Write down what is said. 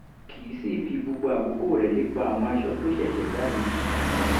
kì í sì í fi gbogbo àkókò rẹ̀ lépa àwọn aṣọ tó ṣẹ̀ṣẹ̀ jáde